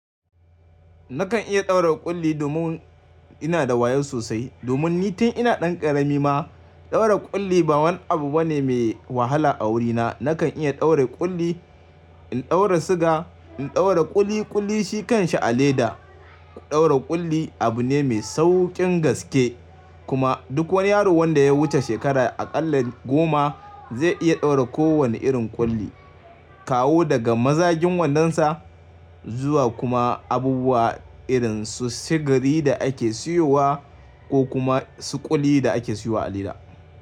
Nakan iya ɗaura ƙulli domin ina da wayo sosai, domin ni tun ina ɗan ƙarami ma ɗaura ƙulli ba wani abu bane mai wahala a wurina. Nakan iya ɗaura ƙulli, in ɗaura siga, in ɗaura ƙuli ƙuli shi kan sha a leda. Ɗaura ƙulli abu ne mai sauƙin gaskye kuma duk wani yaro wanda ya wuce shekara a ƙalla goma zai iya ɗaura kowane irin ƙulli, kawo daga mazagin wanɗonsa Zuwa kuma abubuwa irin su sigari da ake siyowa ko kuma su ƙuli da ake siyowa a leda.